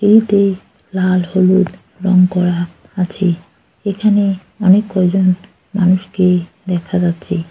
লাল হলুদ রং করা আছে এখানে অনেক কয়জন মানুষকে দেখা যাচ্ছে।